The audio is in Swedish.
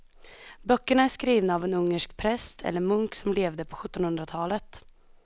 Böckerna är skrivna av en ungersk präst eller munk som levde på sjuttonhundratalet.